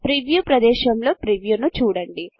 preview ప్రదేశములో ప్రీవ్యూను చూడండి